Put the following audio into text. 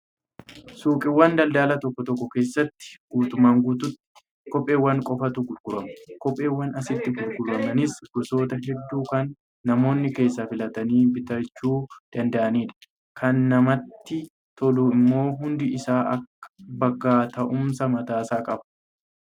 Suuqiiwwan daldalaa tokko tokko keessatti guutummaa guutuutti kopheewwan qofaatu gurgurama. Kopheewwan asitti gurguramanis gosoota hedduu kan namoonni keessaa filatanii bitachuu danda'anidha. Kan namatti tolu immoo hundi isaa bakka taa'umsaa mataasaa qaba.